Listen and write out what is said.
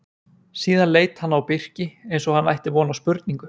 Síðan leit hann á Birki eins og hann ætti von á spurningu.